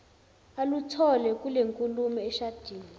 aluthole kulenkulumo eshadini